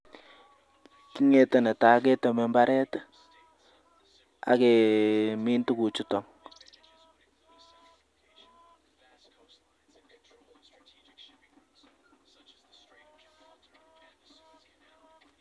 KIng'ete netaa keteme mbaret ake min tukuchuto.